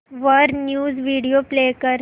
वर news video play कर